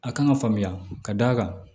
A kan ka faamuya ka d'a kan